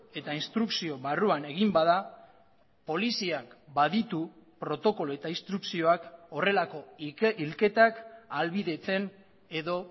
eta instrukzio barruan egin bada poliziak baditu protokolo eta instrukzioak horrelako hilketak ahalbidetzen edo